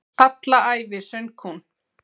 Alla ævi söng hún.